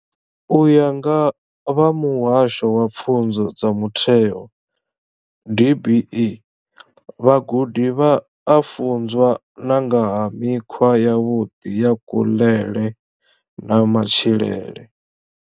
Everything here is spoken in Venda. U ya nga vha Muhasho wa Pfunzo dza Mutheo DBE, vhagudi vha a funzwa na nga ha mikhwa yavhuḓi ya kuḽele na matshilele.